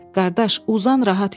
Qardaş, uzan rahat yat.